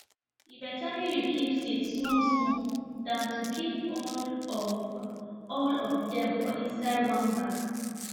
e better make you keep seed small small than to keep all of all of dem for inside one bag